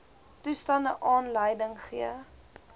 toestande aanleiding gee